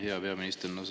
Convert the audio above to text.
Hea peaminister!